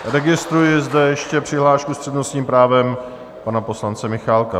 Registruji zde ještě přihlášku s přednostním právem pana poslance Michálka.